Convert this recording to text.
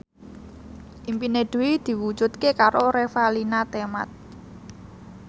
impine Dwi diwujudke karo Revalina Temat